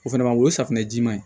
O fɛnɛ ma o ye safunɛ jiman ye